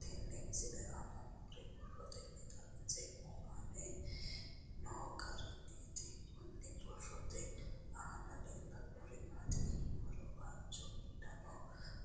Tenne misile aana noore borroteni xawiseemohu aane noo gariniiti. Kunni borrote aana leelanori maati yiniro waajo uddanna